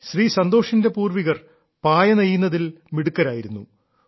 ശ്രീ സന്തോഷിന്റെ പൂർവ്വികർ പായ നെയ്യുന്നതിൽ മിടുക്കരായിരുന്നു